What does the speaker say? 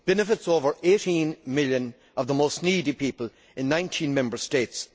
It benefits over 18 million of the most needy people in 19 Member States.